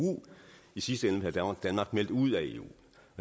i sidste ende have danmark meldt ud af eu